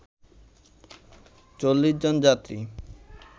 ৪০ জন যাত্রী